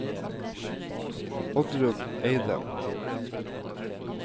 Oddrun Eidem